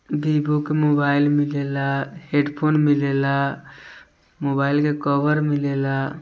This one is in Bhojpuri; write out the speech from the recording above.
वीवो का मोबाइल मिले ला हैडफोन मिले ला मोबाइल का कवर मिले ला।